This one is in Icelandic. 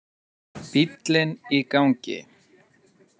Bíllinn í gangi.